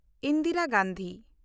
Indira Gandhi